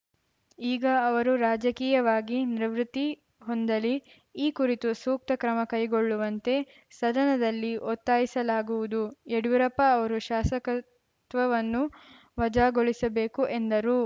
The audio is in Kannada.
ಈಗ ಅವರು ರಾಜಕೀಯವಾಗಿ ನಿವೃತ್ತಿ ಹೊಂದಲಿ ಈ ಕುರಿತು ಸೂಕ್ತ ಕ್ರಮ ಕೈಗೊಳ್ಳುವಂತೆ ಸದನದಲ್ಲಿ ಒತ್ತಾಯಿಸಲಾಗುವುದು ಯಡಿಯೂರಪ್ಪ ಅವರ ಶಾಸಕತ್ವವನ್ನು ವಜಾಗೊಳಿಸಬೇಕು ಎಂದರು